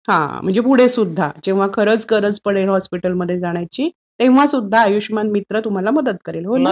हां. म्हणजे पुढे सुद्धा जेंव्हा खरंच गरज पडेल हॉस्पिटलमध्ये जाण्याची तेंव्हासुद्धा आयुष्यमान मित्र तुमची मदत करेल, हो ना?